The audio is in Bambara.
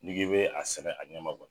N'i k'e be a sɛnɛ a ɲɛma kɔni